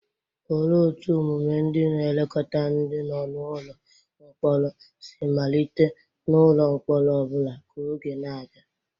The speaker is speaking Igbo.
Olee otú omume ndị na-elekọta ndi no n'ụlọ mkpọrọ si malite n'ụlọ mkpọrọ ọ bụla ka oge na-aga?